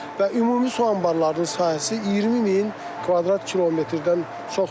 Və ümumi su anbarlarının sahəsi 20 min kvadrat kilometrdən çoxdur.